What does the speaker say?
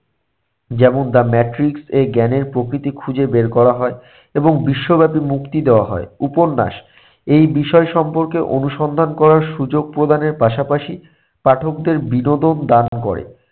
যেমন the Matrix এ জ্ঞানের প্রকৃতি খুঁজে বের করা হয় এবং বিশ্বব্যাপী মুক্তি দেয়া হয়। উপন্যাস, এই বিষয়ে সম্পর্কে অনুসন্ধান করার সুযোগ প্রদানের পাশাপাশি পাঠকদের বিনোদন দান করে।